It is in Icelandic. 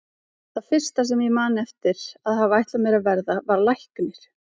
Það fyrsta sem ég man eftir að hafa ætlað mér að verða var læknir.